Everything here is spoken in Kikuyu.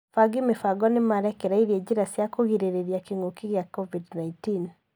Afangi mibango nĩmarekereirie njĩra cia kugrĩrĩria kĩngũki gia covid-19